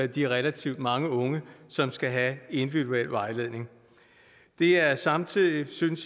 de relativt mange unge som skal have individuel vejledning det er samtidig synes